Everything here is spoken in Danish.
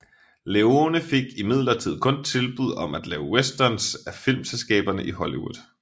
Leone fik imidlertid kun tilbud om at lave westerns af filmselskaberne i Hollywood